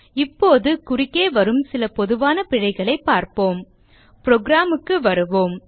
இப்போது குறுக்கே வரும் சில பொதுவான பிழைகளைப் பார்ப்போம் புரோகிராம் க்கு வருவோம்